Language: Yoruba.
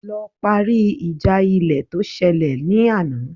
Lọ parí ìjà ilẹ̀ tó ṣẹlẹ̀ ní àná